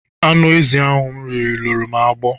Anụ ezi ahụ m riri luru m agbọ.